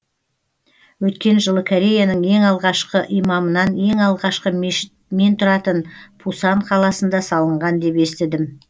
өткен жылы кореяның ең алғашқы имамынан ең алғашқы мешіт мен тұратын пусан қаласында салынған деп естідім